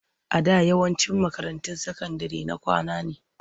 A da yawancin makarantun sakandire na kwana ne.